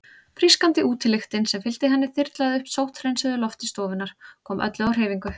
Frískandi útilyktin sem fylgdi henni þyrlaði upp sótthreinsuðu lofti stofunnar, kom öllu á hreyfingu.